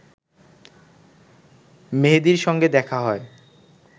মেহেদীর সঙ্গে দেখা হয়